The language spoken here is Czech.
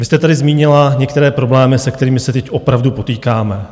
Vy jste tady zmínila některé problémy, se kterými se teď opravdu potýkáme.